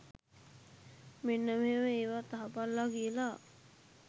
මෙන්න මෙහෙම ඒවත් අහපල්ලා කියලා